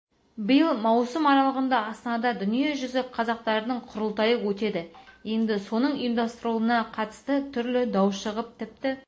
биыл маусым аралығында астанада дүниежүзі қазақтарының құрылтайы өтеді енді соның ұйымдастырылуына қатысты түрлі дау шығып тіпті